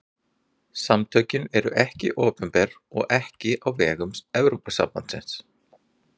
Samtökin eru ekki opinber og ekki á vegum Evrópusambandsins.